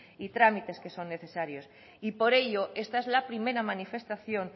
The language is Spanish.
y trámites que son necesarios por ello esta es la primera manifestación